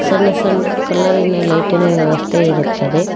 ಸಣ್ಣ ಸಣ್ಣ ಕಲರಿನ ಲೈಟಿನ ವ್ಯವಸ್ಥೆ ಇರುತ್ತದೆ.